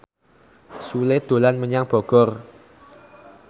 Sule dolan menyang Bogor